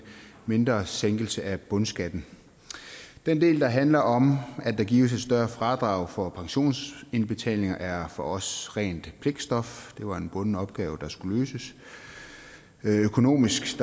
mindre sænkelse af bundskatten den del der handler om at der gives et større fradrag for pensionsindbetalinger er for os rent pligtstof det var en bunden opgave der skulle løses økonomisk